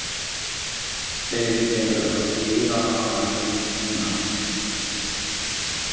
Þeir eru að keyra hana heim núna.